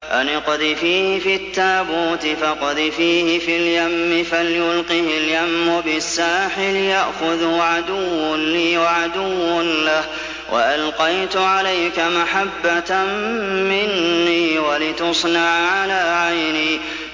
أَنِ اقْذِفِيهِ فِي التَّابُوتِ فَاقْذِفِيهِ فِي الْيَمِّ فَلْيُلْقِهِ الْيَمُّ بِالسَّاحِلِ يَأْخُذْهُ عَدُوٌّ لِّي وَعَدُوٌّ لَّهُ ۚ وَأَلْقَيْتُ عَلَيْكَ مَحَبَّةً مِّنِّي وَلِتُصْنَعَ عَلَىٰ عَيْنِي